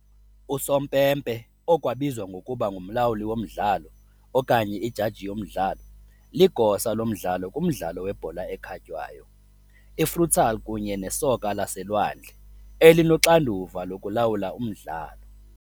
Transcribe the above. Usompempe, okwabizwa ngokuba "ngumlawuli womdlalo" okanye "ijaji yomdlalo", ligosa lomdlalo kumdlalo webhola ekhatywayo, i - futsal kunye nesoka laselwandle, elinoxanduva lokulawula umdlalo.